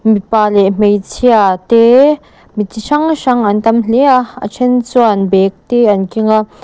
mipa leh hmeichhia te mi chi hrang hrang an tam hle a a then chuan bag te an keng a.